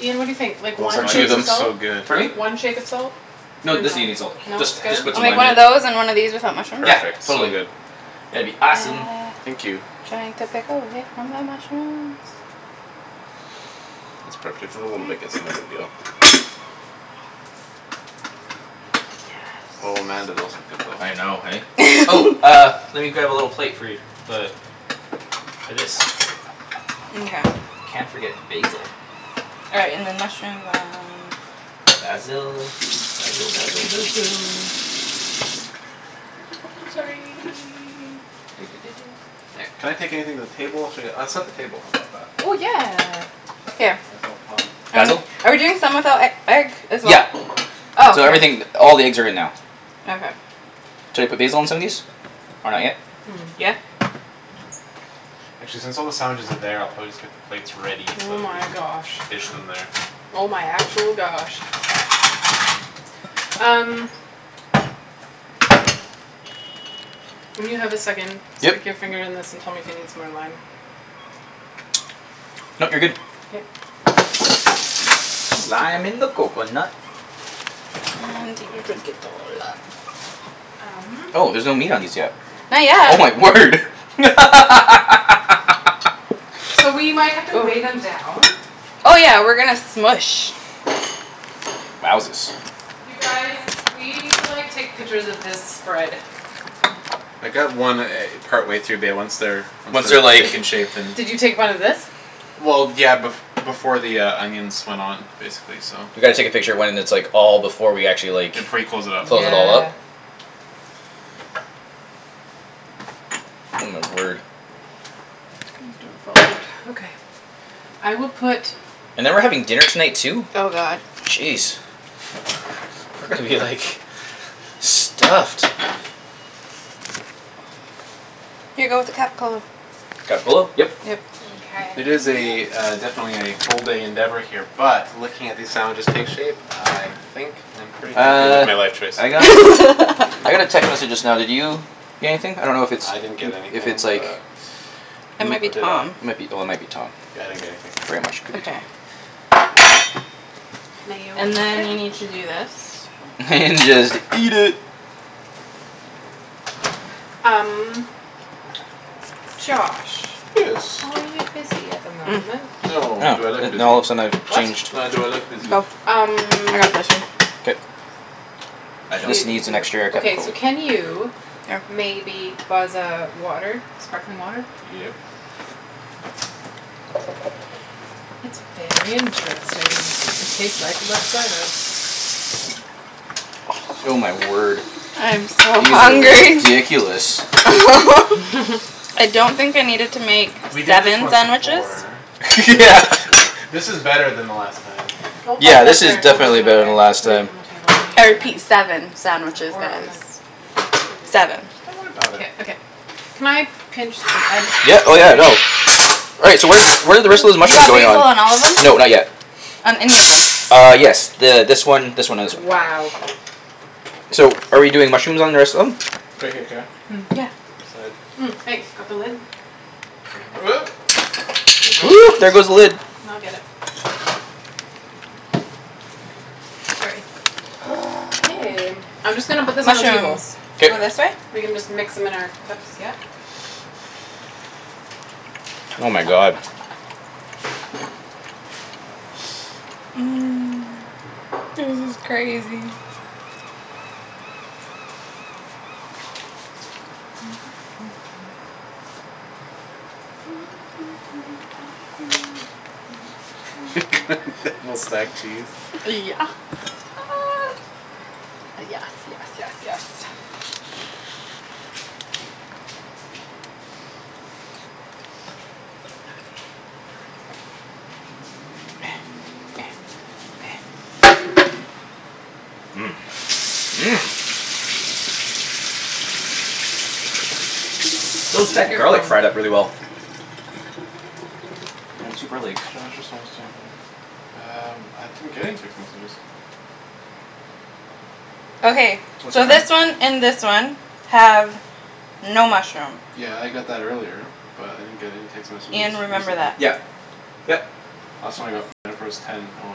Ian, what do you think? Like Oh one shake of looks so salt? good. Pardon me? One shake of salt? Dunno. No No? Good? doesn't need any salt. Just just put I'll some make lime one in it. of those and one of these without mushrooms? Yeah Perfect. So totally good. that'd be Uh giant awesome. Thank you. uh pepper away from the mushrooms That's perf- if you wanna bake it's another dill. Oh man do those look good though. I know hey? Oh uh let me grab a little plate for you. The For this. Mkay. Can't forget basil. All right, and then mushrooms uh Basil basil basil basil Sorry Can I take Sorry. anything to the table? Should I get I'll set the table how 'bout that? Oh yeah. Here. Myself hond- Um Basil? handy. are we doing some without e- egg as well? Yeah Oh K. so everything all the eggs are in now. Okay. Should I put basil on some of these? Or not yet? Hmm. Yeah. Actually since all the sandwiches are there I'll probably just get the plates ready Oh so we my can gosh. dish them there. Oh my actual gosh. Um. When you have a second, Yep stick your finger in this and tell me if it needs more lime. Nope you're good. K. Lime in the coconut. You drink it all up. Um. Oh there's no meat on these yet? Not Oh my yet. word So we might have to wave Oh. 'em down. Oh yeah, we're gonna smoosh. Wowzus You guys, we need to like take pictures of this spread. I got one e- partway through bae once they're Once Once they're they're like taken shape then Did you take one of this? Well yeah bef- before the uh onions went on basically so. We gotta take a picture when it's like all before we actually Yeah like before you close it up. close it all up Yeah. Oh my word. Please don't fall out. Okay. I will put And then we're having dinner tonight too? Oh god. Jeez We're gonna be like stuffed. Here go with the Capocollo. Capocollo? Yep. Yep. Mkay It is a uh definitely a full day endeavor here But looking at these sandwiches take shape I think I'm pretty happy with Uh my life choice so I got I got a text message just now did you get anything? I don't know if it's I didn't get if anything it's like but It m- might Or be did Tom. I? Yeah might be oh it might be Tom. I didn't get anything. Very much could be Okay. Tom. Mayo in And the then you fridge. need to do this. Then just eat it. Um Josh, Yes. are you busy at the moment? Oh No, do I look busy? now all of a sudden I've What? changed No, do I look busy? Oh, I got Um this one. K No, I don't. This needs an extra okay so capocollo can you Oh. Maybe buzz a water? Sparkling water? Yep. It's very interesting. It tastes like Oh my word. I am so These are hungry. ridiculous. I don't think I needed to make We did this seven once sandwiches. before Yeah but. This is better than the last time. Don't buzz Yeah it up this is there don't buzz it definitely up better there. than last Put it time. on the table if you need I to, honey. repeat, seven sandwiches Or on the guys. don't do Seven. Don't worry 'bout k, it. okay. Can I pinch the I Yeah just oh sorry yeah no Right, so where where're the rest of those You got mushrooms going on? basil on all of No them? not yet. On any of them? Uh yes th- this one this one and this one. Wow. So are we doing mushrooms on the rest of them? Right here, Kara Yeah. Right beside. Thanks, got the lid? There it goes. there goes the lid. N- I'll get it. Sorry. K, I'm just gonna put this on the Mushrooms table. go All K this right. way? We can just mix 'em in our cups, yeah? Oh my god. This is crazy. Yeah Double stacked cheese. s- yes yes yes yes Those Check deck your garlic phone. fried up really well. I'm super like Josh is almost there Um I didn't get any text messages. Okay, What's so going on? this one and this one have no mushroom. Yeah I got that earlier, but I didn't get any text messages Ian, remember recently. that. Yep yep Last one I got from Jennifer was ten O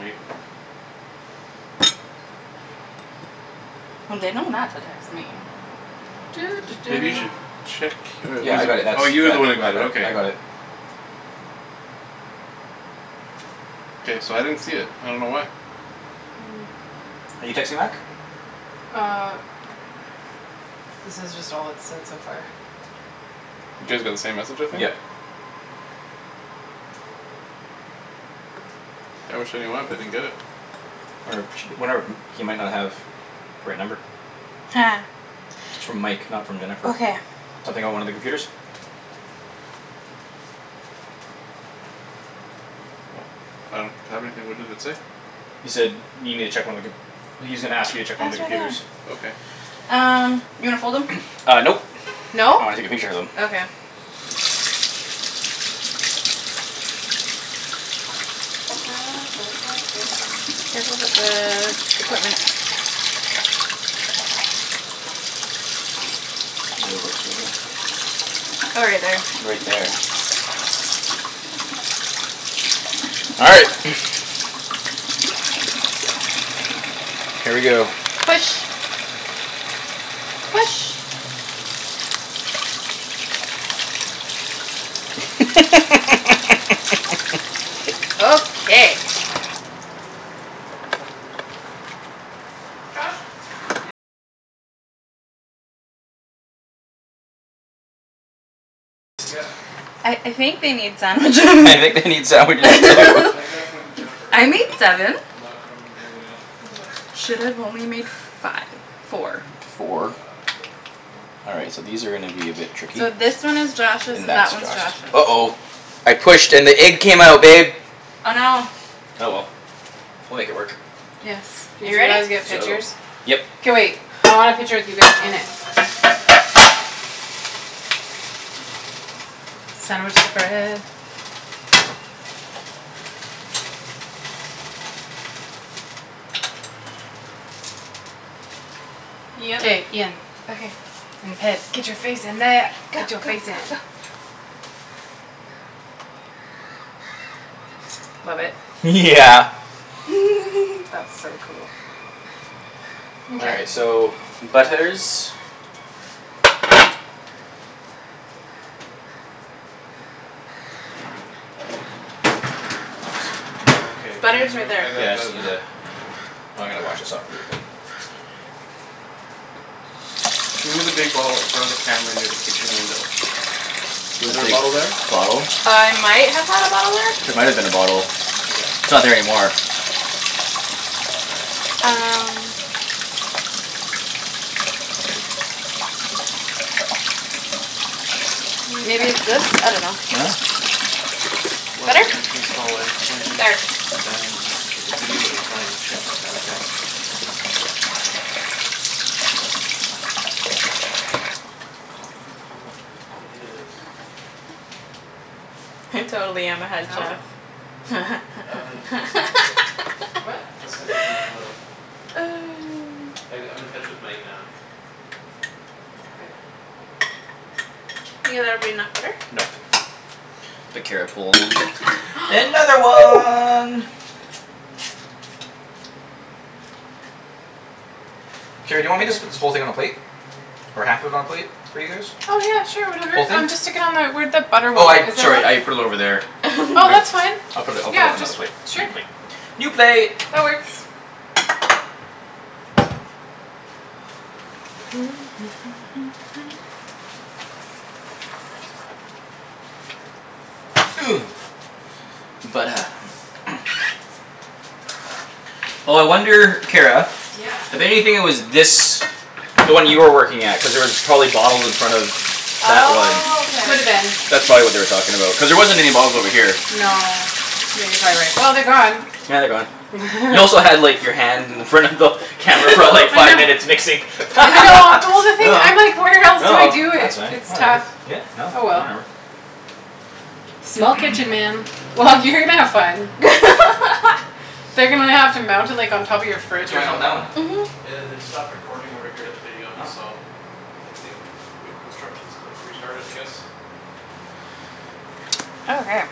eight. Well, they know not to text me. Maybe you should check oh Yeah yeah I well got it you that's oh you were the one who got it that that I got okay. it. K, so I didn't see it, I don't know why. You texting back? Uh This is just all it said so far. You guys got the same message I think. Yep. I wish I knew why but I didn't get it. Wonder if wonder if he might not have The right number. It's from Mike not from Jennifer. Okay. Something about one of the computers? Well I don't have anything what does it say? He said need me to check one of the com- well he's gonna ask you to Oh it's check one right of the there. computers. Okay. Um, you wanna fold 'em? Uh nope No? I wanna take a picture of them. Okay. Careful with the equipment. Oh right there. Right there. All right. Here we go. Push. Push. Okay. Josh. I I think they need sandwiches You I get think anything? they need Nope, sandwiches too I got something from Jennifer I earlier made seven. but not from anybody else. This is what I said. Should've only made five four. Four Uh great. Yeah. All right so these are gonna be a bit tricky. And So this one is that's Josh's and that one's Josh. Josh's. Uh oh I pushed and the egg came out babe Oh no. Oh well, we'll make it work. Yes, Did you you ready? guys get So pictures? Yep K wait, I want a picture of you guys in it. Sandwich spread. K, Ian. Okay. And Ped. Get your face in there. Go go Get your face go go. in. Love it. Yeah That's so cool. All Mkay. right so butlers Okay Butter's right there. I got Yeah I just that need the now. oh I'm gonna wash this off with your "Can you move the big bottle in front of the camera near the kitchen window?" Was The there a big bottle there? bottle? Uh I might have had a bottle there. There might've been a bottle. Okay. It's not there anymore. All right. Um. New Maybe it's text. this? I dunno. No? "One at Better? the entrance hallway pointing" There. "Dining so the video is running. Check the timer." Yeah I'll check. Doesn't look like it is. I totally am a head No? chef. I'm gonna just text him a photo. What? I'm just gonna text him a photo. I g- I'm in touch with Mike now. Okay. Ian there'll be enough butter? Nope The Kara pulled another one. Kara, do you want me just put Okay. this whole thing on a plate? Or half of i- on a plate for you guys? Oh yeah sure whatever. Whole thing? Um just stick it on my where that butter Oh I went. Is it sorry I running? put it over there. I Oh that's fine, I'll put it I'll put it on another plate. just sure New plate. New plate That works. Oh I wonder Kara. Yeah. I bet you anything it was this The one you were working at cuz there was probably bottles in front of That one Oh K. Coulda been. That's probably what they were talking about cuz there wasn't any bottles over here. No yeah you're probably right. Well they're gone. Yeah they're gone. You also had like your hand in front of the Camera for like I five know. minutes mixing. I know well No the thing no I'm like where else do I do that's it? fine It's whatever tough. yeah no Oh well. whatever. Small kitchen, man. Well, you're gonna have fun. They're gonna have to mount it like on top of your What's fridge or going on with something. that one? Mhm. Yeah they'd stopped recording over here, the video Oh so. They say uh wait instructions to restart it I guess. Okay.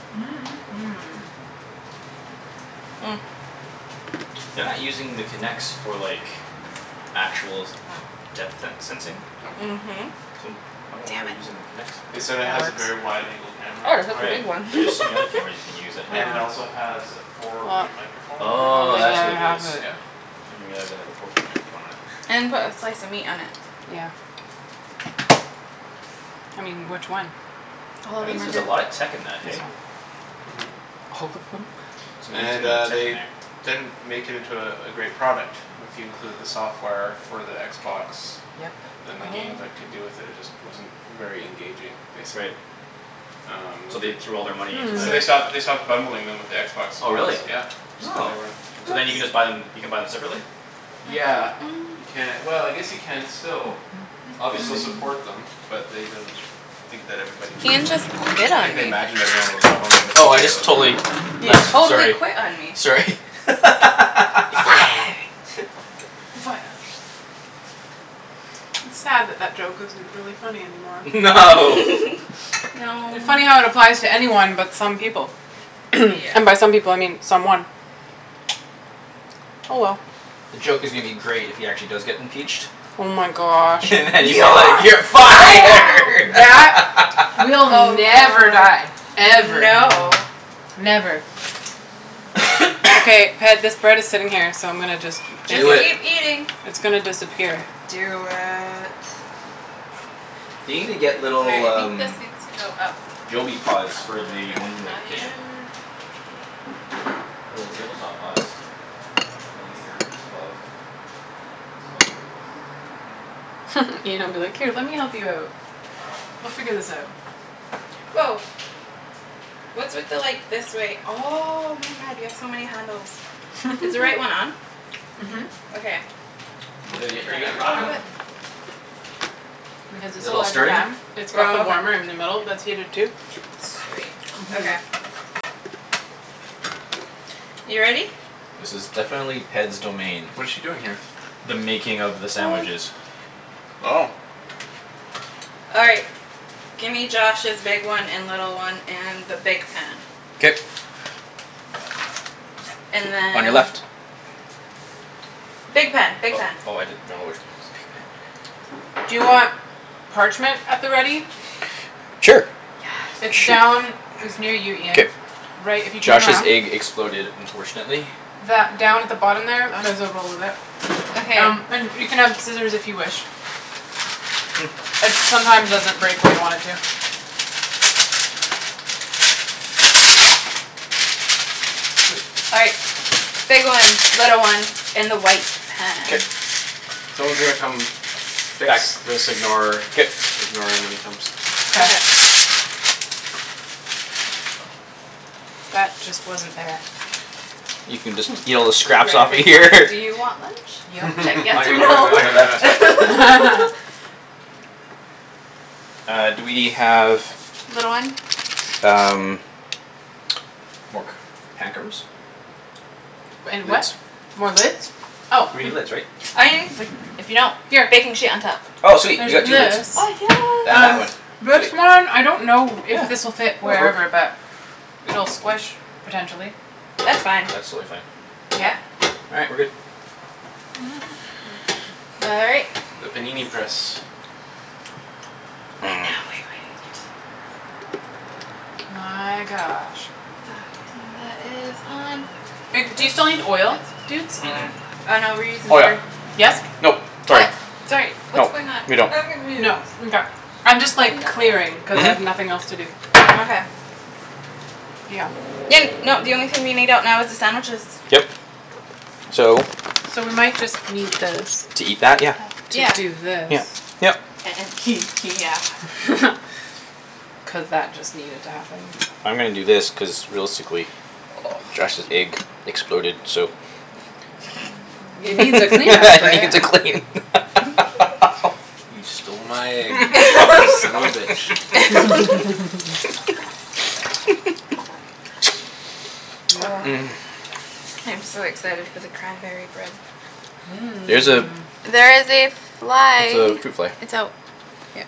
They're not using the Kinects for like Actual depth se- sensing? Nope. Mhm. I wonder why Damn they're it. using the Kinects They then? said it That has a works. very wide angle camera Oh it's on a Right it. one but there's so many other cameras you can use that have And it it Oh also has a four Well, point microphone we'll in Oh there make is the that's the what other it is. half of thing. it. Yeah. Didn't realize they had a four point microphone in it. And put a slice of meat on it. Yeah. I mean, which one? I'll That hold your means there's a marker. lot of tech in that This eh? one. Mhm. It's And amazing amount uh of tech in they there. didn't make it into uh a great product if you include the software for the Xbox. Yep. Then the games that could do with it it just wasn't very engaging, basically Right Um no So the they threw all their money in there. So they stopped they Okay. stopped bundling them with the Xbox Oh really Ones, yeah. Just cuz Oh they weren't so then you can Oops. just buy them you can buy them separately? Yeah you ca- well I guess you can still. They still Obviously. support them but they didn't Think that everybody needed Ian one just anymore. quit on Think they me. imagined everyone would love 'em Oh I including just the totally You left totally sorry quit on me. sorry You're fired. You're fired. It's sad that that joke isn't really funny anymore. No. No It funny how it applies to anyone but some people. Yeah. And by some people I mean someone. Oh well. The joke is gonna be great if he actually does get impeached Oh my gosh. And then you're like, You're "You're fired" fired. That will never die. Ever. no. Never. Okay, Ped, this bread is sitting here so I'm gonna just Just just Do it keep eating. It's gonna disappear. Do it. They need to get little I um think this needs to go up a little Joby pods for the bit ones in the kitchen. higher. Little table top pods. Then at least they're it's above it's above everything. Mhm. Ian'll be like, "Here, let me help you out." We'll figure this out. Woah. What's with the like this wait oh my god you have so many handles. Is the right one on? Mhm. Okay, I'm Uh are gonna you turn are you that gonna up a rock little 'em? bit. Because Is it's it a all larger starting? pan. It's got the Oh warmer in the okay. middle that's heated too. Sweet, Mhm. okay. You ready? This is definitely Ped's domain. What is she doing here? The making of the sandwiches. Oh. All right, gimme Josh's big one and little one and the big pan. K And then On your left Big pan, big Oh pan. oh I didn't know which one was the big pan. Do you want parchment at the ready? Sure It's Shoot Yes. down It's near you K. Ian, right if you turn Josh's around. egg exploded unfortunately. That down at the bottom there, there's On? a roll of it. Okay. Um and you can have scissors if you wish. It sometimes doesn't break where you want it to. Mkay. All right. Big one, little one in the white K pan. Someone's gonna come fix this ignore K ignore him when he comes. K. Okay. That just wasn't there. You can just eat all the scraps Write off a of big here sign: "Do you want lunch?" Should Yep. I guess On or your no? on on your left Uh do we have Little one? um More c- pan covers? And a what? Lids? More lids? Oh We need lids right? Oh you can just like if you don't. Here. Baking sheet on top. Oh sweet There's you got two lids this. Oh yes. And that Um one, this sweet one I don't know if Yeah this'll fit that'll work wherever but It'll squish potentially. That's fine. That's totally fine. Yeah? Yeah. All right, we're good. All right. The panini press. And now we wait. My gosh. Um that is on. Do you still need oil, That's dudes? Mm- mm. four. Oh no we're using Oh yeah. butter. Yes? Nope, sorry. What? Sorry No, what's going on? we don't I'm confused. No mkay I'm I just like know. clearing cuz I Mhm have nothing else to do. Okay. Yeah. Ian no the only thing we need out now is the sandwiches. Yep so So we might just need this To eat that? Oh Yeah. To do yes. this. Yeah. Yep. yeah Cuz that just needed to happen. I'm gonna do this cuz realistically Josh's egg exploded so It needs a cleanup right? needs a clean You stole my egg you son of a bitch. Yep. I'm so excited for the cranberry bread. There's a There is a fly. it's a fruit fly. It's out. Yeah.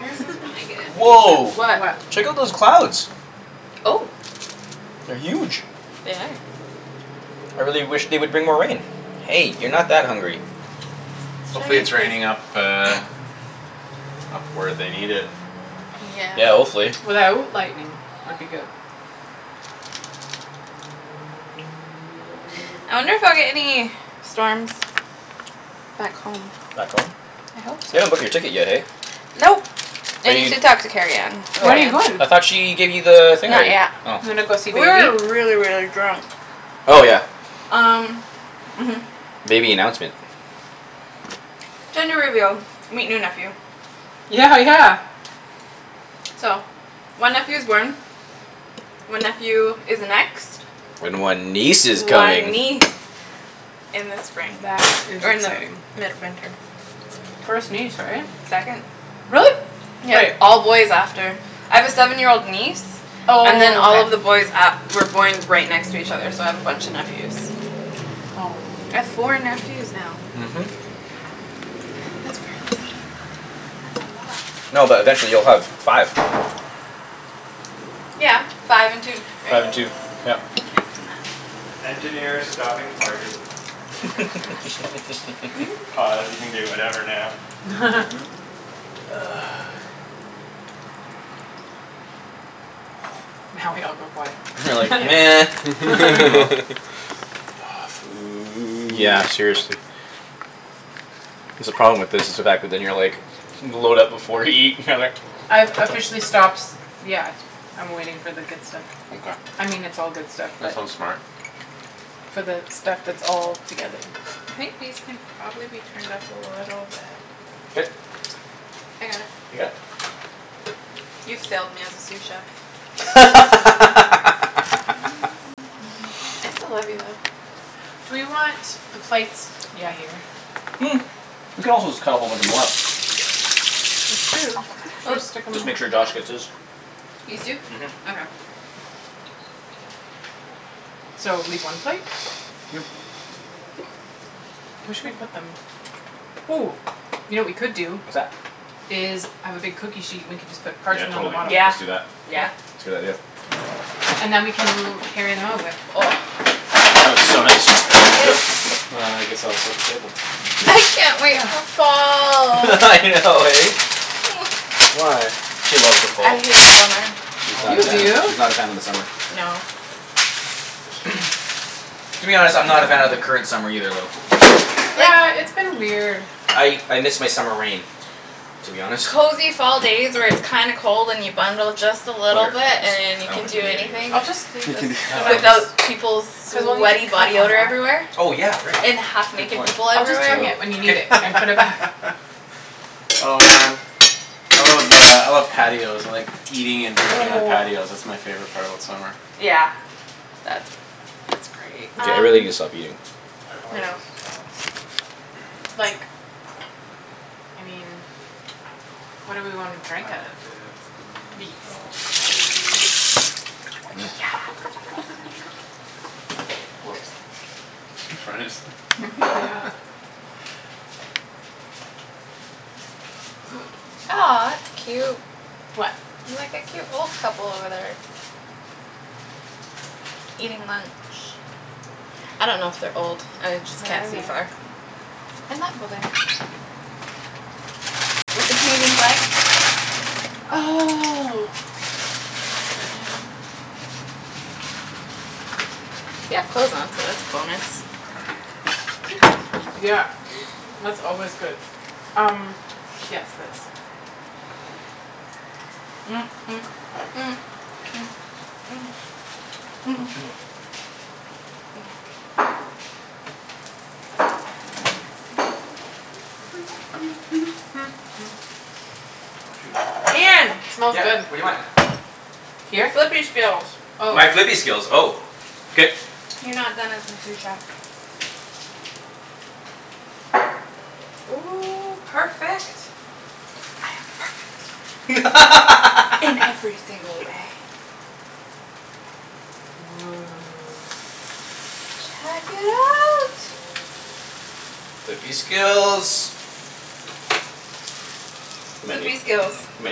This is when I get impatient. Woah What? What? check out those clouds Oh. They're huge. They are. I really wish they would bring more rain. Hey you're not that hungry. It's Hopefully Chinese it's fruit. raining up uh Up where they need it. Yeah. Yeah hopefully. Without lightning would be good. I'll get any storms Back home. Back home? I hope You so. haven't booked your ticket yet hey? Nope, Are I need you to talk to Kerrianne. When are you going? I thought she gave you the thing Not already? yet. Oh Gonna go see We baby? were really really drunk. Oh yeah Um mhm. Baby announcement Gender reveal. Meet new nephew. Yeah yeah. So, one nephew's born. One nephew is next. And one niece is coming One niece in the spring. That is Or in the exciting. mid-winter. First niece right? Second. Really? Yeah, Wait. all boys after. I have a seven year old niece Oh And then all okay. of the boys a- were born right next to each other so I have a bunch of nephews. I have four nephews now. Mhm. That's crazy. That's a lot. No but eventually you'll have five. Yeah, five and two right? Five I and two. Yeah can't do math. Now we all go quiet. We're like nah Aw food. Yeah seriously. That's the problem with this it's the fact that then you're like load up before you eat I've officially stops. Yeah, I'm waiting for the good stuff. I mean it's all good stuff That's but so smart. For the stuff that's all together. I think these can probably be turned up a little bit. K I got it. You got it? You failed me as a sous chef. I'm taking over. I still love you though. Do we want the plates yeah here. We could also just cut a whole bunch of 'em up. True, should I stick 'em Just make sure Josh gets his. These two? Mhm Okay. So leave one plate? Yeah. Yeah Where should we put them? Ooh, you know what we could do What's that? Is I have a big cookie sheet and we can just put Yeah parchment on the totally. bottom. Let's Yeah, just do that. yeah. K. It's a good idea. And then we can mo- carry them over. Oh so nice. Here we go. It's And I guess I'll set the table. I can't wait Yeah. for fall. I know eh? Why? She loves the fall I hate summer. She's Oh not a You fan do? of she's man. not a fan of the summer. No. To be honest I'm not a fan of the current summer either though. Like. Yeah, it's been weird. I I miss my summer rain to be honest. Cozy fall days where it's kinda cold and you bundle just a Over little here bit and just you I don't can think do we need any of this anything. I'll right just here leave this No and I then don't think just Without peoples' Cuz we'll need sweaty to cut body on odor that. everywhere. Oh yeah right And half Good naked point. people I'll just So everywhere. bring it when you need K it and K put it back. Oh man I love uh I love patios like eating and drinking on patios. That's my favorite part about summer. Yeah. That's K that's great. I really Um gotta stop eating. I know. Like I mean What do we wanna drink out of? These. Yes. Oops. Tryin' to just Mhm. Yeah. Aw it's cute. What? Like a cute old couple over there. Eating lunch. I don't know if they're old. I like just Where can't are they? see far. In that building. With the Canadian flag? Oh They have clothes on, so that's coolness. Yeah, that's always good. Um. Yes, this. Oh shoot Ian. Smells Yeah good. what do you want? Your Here? flippy skills. Oh. My flippy skills oh K You're not done as my sous chef. Oh perfect. I am perfect. In every single way. Woah. Check it out. Flippy skills You might Flippy need you skills. might